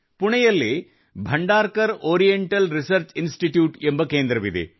ಪುಣೆಯಲ್ಲಿ Bhandarkar Oriental Research Institute ಎಂಬ ಕೇಂದ್ರವಿದೆ